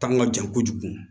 Ta ka jan kojugu